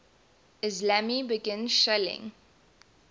islami began shelling